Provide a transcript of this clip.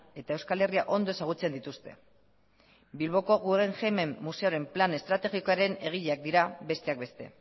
eta euskal herria ondo ezagutzen dituzte bilboko guggenheimen museoaren plan estrategikoaren egileak dira besteak beste